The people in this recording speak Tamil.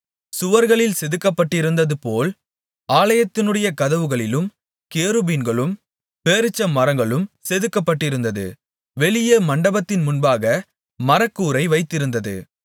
சுவர்களில் செதுக்கப்பட்டிருந்ததுபோல் ஆலயத்தினுடைய கதவுகளிலும் கேருபீன்களும் பேரீச்சமரங்களும் செதுக்கப்பட்டிருந்தது வெளியே மண்டபத்தின் முன்பாக மர கூரை வைத்திருந்தது